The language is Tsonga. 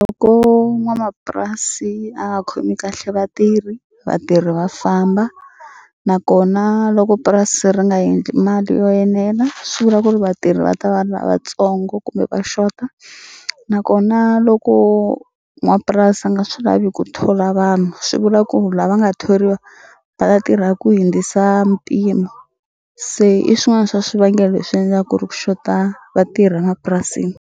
Loko n'wanamapurasi a nga khomi kahle vatirhi vatirhi va famba nakona loko purasi ri nga endli mali yo enela swi vula ku ri vatirhi va ta va lavatsongo kumbe va xota nakona loko n'wapurasi a nga swi lavi ku thola vanhu swi vula ku lava nga thoriwa va ta tirha ku hindzisa mpimo se i swin'wana swa swivangelo leswi endla ku ri ku xota vatirhi a mapurasini.